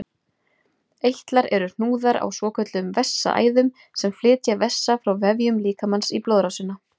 Eitlar eru hnúðar á svokölluðum vessaæðum sem flytja vessa frá vefjum líkamans í blóðrásina.